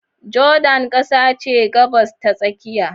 Jordan kasa ce ta Gabas ta Tsakiya.